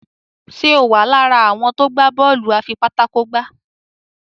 Ṣe o wá lára àwọn tó gbà Bọ́ọ̀lù afipátákó gbá?